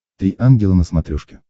три ангела на смотрешке